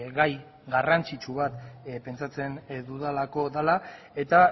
gai garrantzitsu bat pentsatzen dudalako dela eta